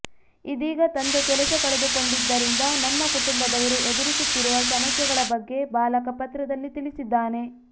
ಇದೀಗ ತಂದೆ ಕೆಲಸ ಕಳೆದುಕೊಂಡಿದ್ದರಿಂದ ನಮ್ಮ ಕುಟುಂಬದವರು ಎದುರಿಸುತ್ತಿರುವ ಸಮಸ್ಯೆಗಳ ಬಗ್ಗೆ ಬಾಲಕ ಪತ್ರದಲ್ಲಿ ತಿಳಿಸಿದ್ದಾನೆ